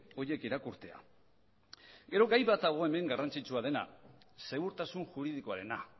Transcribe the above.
horiek irakurtzea gero gai bat dago hemen garrantzitsua dena segurtasun juridikoarena